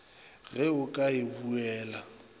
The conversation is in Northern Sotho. ge o ka e buela